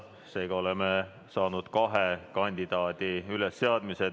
Seega on üles seatud kaks kandidaati.